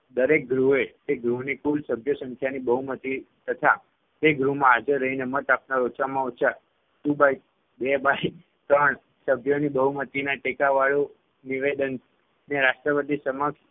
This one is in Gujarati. દરેક ગૃહે તે ગૃહની કુલ સભ્ય સંખ્યાની બહુમતિ તથા તે ગૃહમાં હાજર રહીને મત આપનાર ઓછામાં ઓછા two by બે by ત્રણ સભ્યોની બહુમતિના ટેકાવાળું નિવેદનને રાષ્ટ્રપતિ સમક્ષ